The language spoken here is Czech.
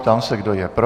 Ptám se, kdo je pro.